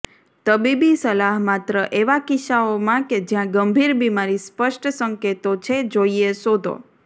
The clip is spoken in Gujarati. તબીબી સલાહ માત્ર એવા કિસ્સાઓમાં કે જ્યાં ગંભીર બીમારી સ્પષ્ટ સંકેતો છે જોઈએ શોધો